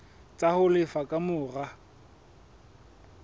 tsa ho lefa ka mora